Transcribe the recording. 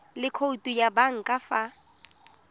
le khoutu ya banka fa